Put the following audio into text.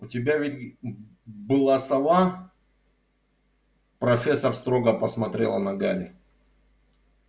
у тебя ведь была сова профессор строго посмотрела на гарри